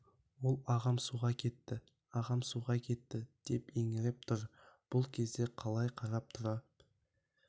ол ағам суға кетті ағам суға кетті деп еңіреп тұр бұл кезде қалай қарап тұра